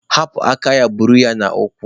Hapụ aka ya buru ya n'ụkwụ!